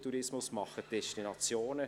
Tourismus AG und die Destinationen.